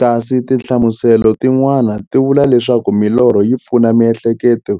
Kasi tinhlamuselo ti n'wana ti vula leswaku milorho yi pfuna miehleketo